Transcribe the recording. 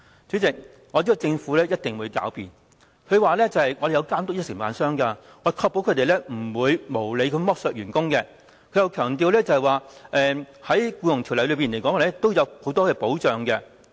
主席，我知道政府一定會狡辯說有監督承辦商，確保他們不會無理剝削員工，又會強調《僱傭條例》裏面有很多保障。